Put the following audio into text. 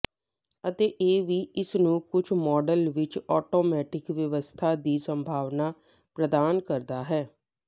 ਅਤੇ ਇਹ ਵੀ ਇਸ ਨੂੰ ਕੁਝ ਮਾਡਲ ਵਿੱਚ ਆਟੋਮੈਟਿਕ ਵਿਵਸਥਾ ਦੀ ਸੰਭਾਵਨਾ ਪ੍ਰਦਾਨ ਕਰਦਾ ਹੈ